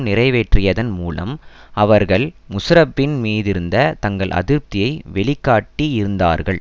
நிறைவேற்றியதன் மூலம் அவர்கள் முஷாரஃப்பின் மீதிருந்த தங்கள் அதிருப்தியை வெளிக்காட்டி இருந்தார்கள்